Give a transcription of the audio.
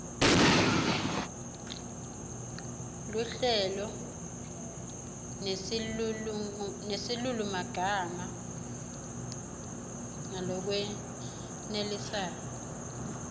luhlelo nesilulumagama ngalokwenelisako